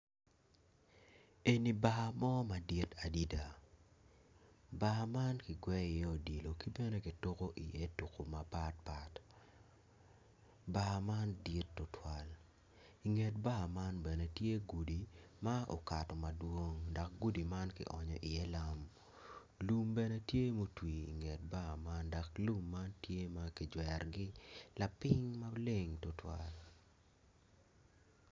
Eni bar mo madit adida bar man ki gweyo iye odilo ki tuku mapatpat bar man dit tutwal inget bar man bene tye gudi ma okato madwong lum bene tye mutwi inget bar man dok lum man tye ki jwerogi lapiny maleng tutwal